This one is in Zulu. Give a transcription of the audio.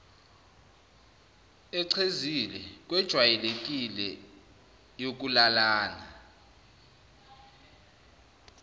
echezile kwejwayelekile yokulalana